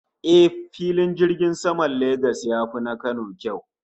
Eh, Filin jirgin saman Lagos ya fi na Kano kyau